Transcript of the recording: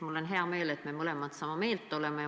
Mul on hea meel, et me mõlemad sama meelt oleme.